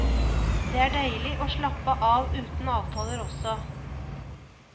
Det er deilig å slappe av uten avtaler også.